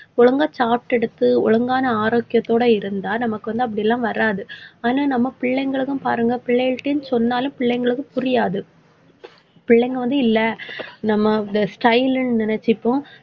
ஒழுங்கா சாப்பிட்டு எடுத்து ஒழுங்கான ஆரோக்கியத்தோட இருந்தா நமக்கு வந்து அப்படி எல்லாம் வராது. ஆனா, நம்ம பிள்ளைகளுக்கும் பாருங்க பிள்ளைகள்கிட்டயும் சொன்னாலும் பிள்ளைங்களுக்கு புரியாது பிள்ளைங்க வந்து இல்ல நம்ம style ன்னு நினைச்சுப்போம்.